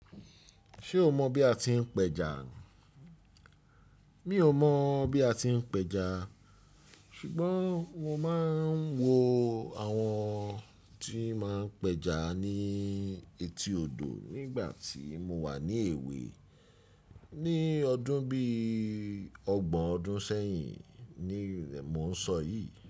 Ṣé o mọ bí a ti ń pẹja? Mi ò mọ̀ bí a ti ń pẹja ṣùgbọ́n mo máa ń wo àwọn tí ma ń pẹja ní etí odò nígbà tí mo wà ní èwe ní ọdún bí ọgbọ̀n ọdún sẹ́yìn ni mò ń sọ yìí.